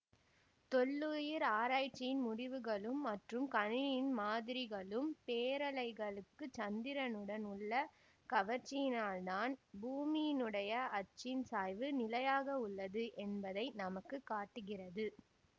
தொல்லுயிர் ஆராய்ச்சியின் முடிவுகளும் மற்றும் கணினியின் மாதிரிகளும் பேரலைகளுக்கு சந்திரனுடன் உள்ள கவர்ச்சியினால்தான் பூமியினுடைய அச்சின் சாய்வு நிலையாக உள்ளது என்பதை நமக்கு காட்டுகிறது